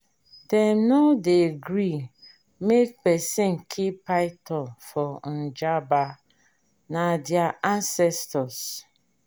dem no dey gree make pesin kill python for njaba na their ancestors.